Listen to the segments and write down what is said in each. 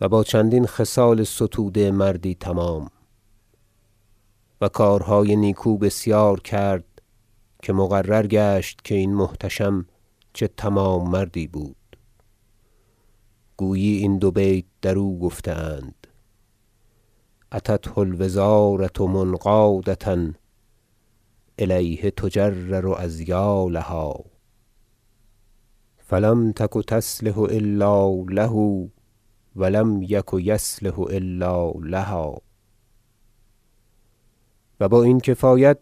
و با چندین خصال ستوده مردی تمام و کارهای نیکو بسیار کرد که مقرر گشت که این محتشم چه تمام مردی بود گویی این دو بیت درو گفته اند شعر اتته الوزارة منقادة الیه تجرر اذیالها فلم تک تصلح الا له و لم یک یصلح الا لها و با این کفایت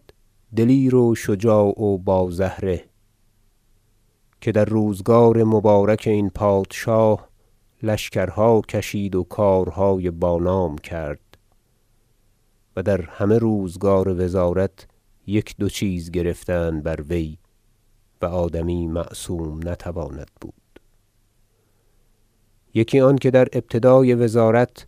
دلیر و شجاع و با زهره که در روزگار مبارک این پادشاه لشکرها کشید و کارهای با نام کرد و در همه روزگار وزارت یک دو چیز گرفتند بر وی و آدمی معصوم نتواند بود یکی آنکه در ابتدای وزارت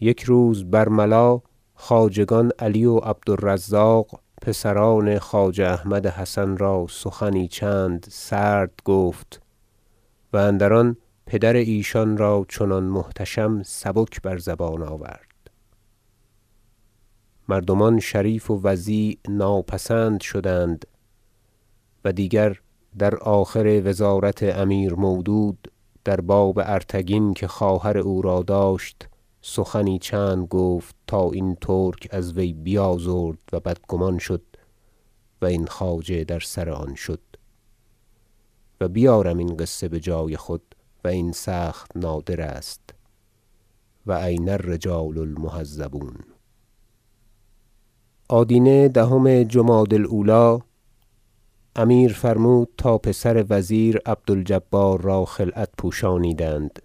یک روز برملا خواجگان علی و عبد الرزاق پسران خواجه احمد حسن را سخنی چند سرد گفت و اندر آن پدر ایشان را چنان محتشم سبک بر زبان آورد مردمان شریف و وضیع ناپسند شدند و دیگر در آخر وزارت امیر مودود در باب ارتگین که خواهر او را داشت سخنی چند گفت تا این ترک از وی بیازرد و بدگمان شد و این خواجه در سر آن شد و بیارم این قصه بجای خود و این سخت نادر است و این الرجال المهذبون آدینه دهم جمادی الاولی امیر فرمود تا پسر وزیر عبد الجبار را خلعت پوشانیدند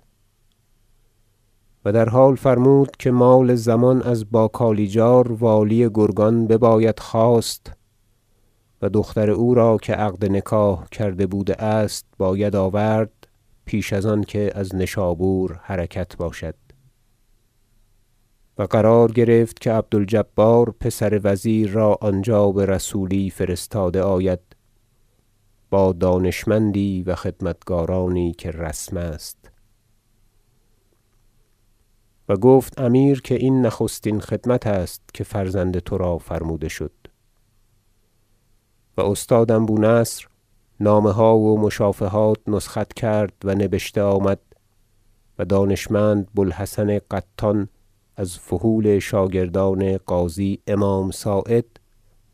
و در حال فرمود که مال ضمان از باکالیجار والی گرگان بباید خواست و دختر او را که عقد نکاح کرده بوده است باید آورد پیش از آنکه از نشابور حرکت باشد و قرار گرفت که عبد الجبار پسر وزیر را آنجا برسولی فرستاده آید با دانشمندی و خدمتکارانی که رسم است و گفت امیر که این نخستین خدمت است که فرزند ترا فرموده شد و استادم بونصر نامه ها و مشافهات نسخت کرد و نبشته آمد و دانشمند بو الحسن قطان از فحول شاگردان قاضی امام صاعد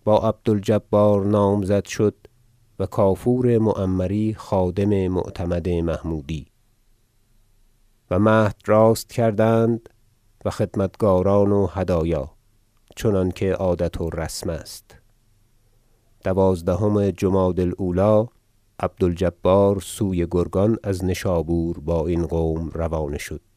با عبد الجبار نامزد شد و کافور معمری خادم معتمد محمودی و مهد راست کردند و خدمتکاران و هدایا چنانکه عادت و رسم است دوازدهم جمادی الاولی عبد الجبار سوی گرگان از نشابور با این قوم روانه شد